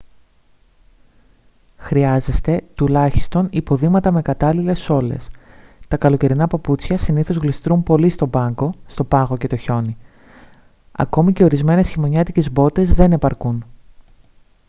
χρειάζεστε τουλάχιστον υποδήματα με κατάλληλες σόλες. τα καλοκαιρινά παπούτσια συνήθως γλιστρούν πολύ στον πάγο και το χιόνι· ακόμη και ορισμένες χειμωνιάτικες μπότες δεν επαρκούν